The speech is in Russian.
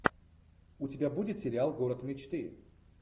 у тебя будет сериал город мечты